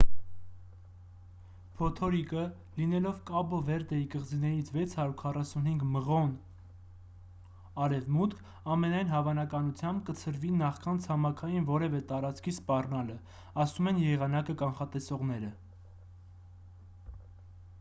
փոթորիկը լինելով կաբո վերդեի կղզիներից 645 մղոն 1040 կմ արևմուտք ամենայն հավանականությամբ կցրվի նախքան ցամաքային որևէ տարածքի սպառնալը,- ասում են եղանակը կանխատեսողները: